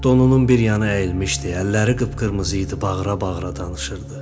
Donunun bir yanı əyilmişdi, əlləri qıp-qırmızı idi, bağıra-bağıra danışırdı.